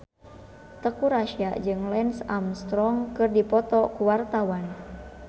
Teuku Rassya jeung Lance Armstrong keur dipoto ku wartawan